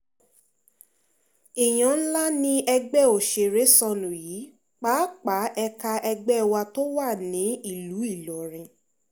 èèyàn ńlá ni ẹgbẹ́ òṣèré sọnù yìí pàápàá ẹ̀ka ẹgbẹ́ wa tó wà nílùú ìlọrin